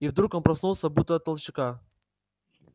и вдруг он проснулся будто от толчка